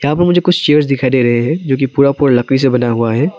और मुझे कुछ चेयर्स दिखाई दे रहे हैं जो कि पूरा पूरा लकड़ी से बना हुआ है।